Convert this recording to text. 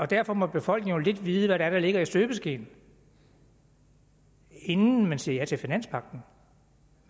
derfor må befolkningen jo vide lidt er der ligger i støbeskeen inden man siger ja til finanspagten